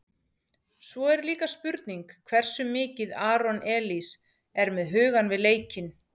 Svo er líka spurning hversu mikið Aron Elís er með hugann við leikinn?